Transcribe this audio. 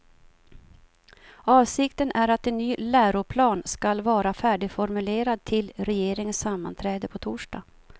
Avsikten är att en ny läroplan skall vara färdigformulerad till regeringens sammanträde på torsdag.